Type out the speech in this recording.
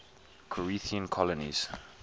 corinthian colonies